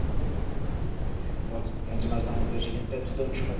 Doamnă președintă, Tudor Ciuhodaru este numele meu, Ciuhodaru.